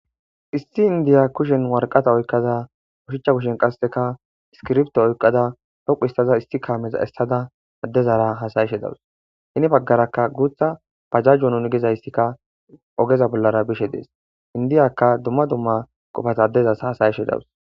issi indiya kushen warqata oykkaza koshicha kushen qasseka iskirbto oykqada dhoqu istaza isti kaameza essada addezara hasayishe dawus hini baggarakka guutha pajajjo nun gezaystikka ogeza bollara bishe dees indiyaka dumma dumma qofat addezas hasayishe dawus